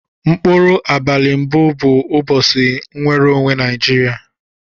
Mkpuru abali mbu bu ubosi mnwere onwe naijiria.